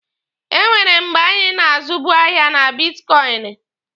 Enwere mgbe anyị na-azubu ahịa na bitkọịnị.